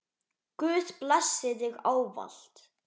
Guð blessi þig ávallt.